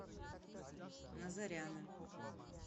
назаряна